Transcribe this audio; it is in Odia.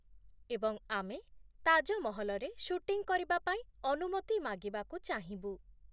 ଏବଂ ଆମେ ତାଜମହଲରେ ସୁଟିଂ କରିବା ପାଇଁ ଅନୁମତି ମାଗିବାକୁ ଚାହିଁବୁ।